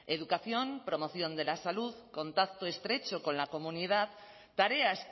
educación promoción de la salud contacto estrecho con la comunidad tareas